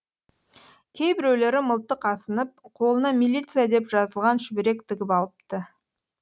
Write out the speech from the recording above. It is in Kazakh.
кейбіреулері мылтық асынып қолына милиция деп жазылған шүберек тігіп алыпты